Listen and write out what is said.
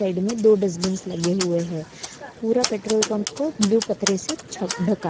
side में दो dustbins लगे हुए हैं पूरा पेट्रोल पंप को ब्लू पतरे से छप धका--